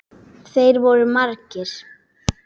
Þeir voru margir.